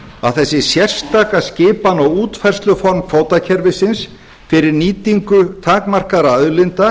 að þessi sérstaka skipan á útfærsluformi kvótakerfisins fyrir nýtingu takmarkaðra auðlinda